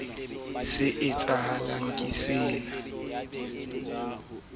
a qamaka kwana le kwana